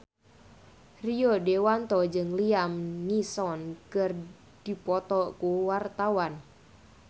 Rio Dewanto jeung Liam Neeson keur dipoto ku wartawan